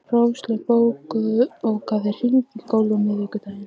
Róslaug, bókaðu hring í golf á miðvikudaginn.